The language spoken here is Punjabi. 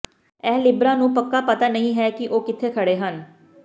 ਇਹ ਲਿਬਰਾ ਨੂੰ ਪੱਕਾ ਪਤਾ ਨਹੀਂ ਹੈ ਕਿ ਉਹ ਕਿੱਥੇ ਖੜ੍ਹੇ ਹਨ